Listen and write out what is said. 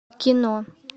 кино